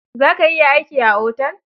Za ka iya aiki a otel?